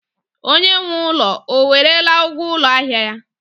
Onye nwe ụlọ o werela ụgwọ ụlọ ahịa ya?